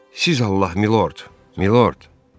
Siz Allah, milord, milord.